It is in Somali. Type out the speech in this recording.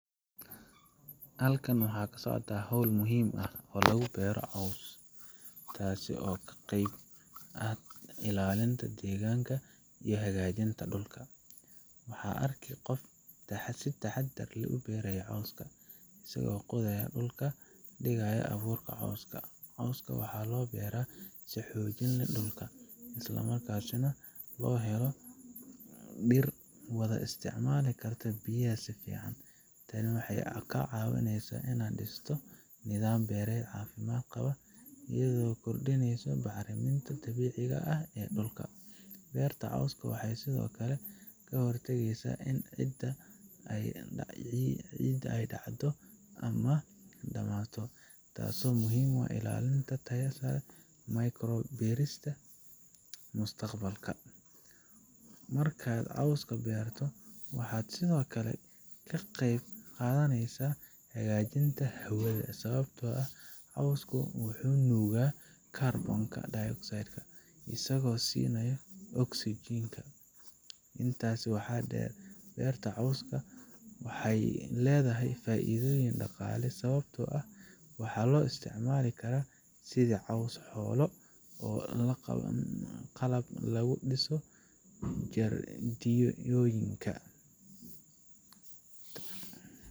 Halkan waxaa kasocotaa howl muhiim ah oo lagu beero coos, taasi oo ka qeyb ah ilaalinta deeganka iyo hagaajinta dulka, waxaa arki qof si taxadar leh ubeerayo cooska asago qodaayo dulka, digaayo abuurka cooska, cooska waxaa loo beera si xoojin leh dulka, isla markaasi na loo helo dir wada isticmaali karta biyaha sifican, tani waxeey kaa caawineysa inaad disto nidaam beered cafimaad qaba, iyado kordineyso bacraminta dabiiciga ah ee dulka, beerta cooska waxeey sido kale kahor tageysa in ciida aay dacdo ama aay damaato, taas oo muhiim u ah ilaalinta taya sare beerista mustaqbalka, markaad cooska beerto waxaad sido kale ka qeyb qadaneysa hagaajinta hawada, sababta oo ah coosku wuxuu nuuga carbon dioxide asaga oo sinaayo oxygen intaasi waxaa deer, beerta cooska waxeey ledahay faaidoyin daqaale sababta oo ah waxaa loo isticmaali karaa coos xoolo.